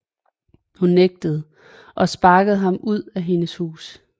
Hun nægtede og sparkede ham ud af hendes hus